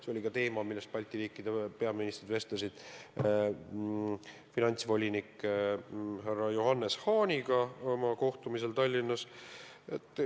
See oli ka teema, millest Balti riikide peaministrid vestlesid finantsvolinik Johannes Hahniga kohtumisel Tallinnas.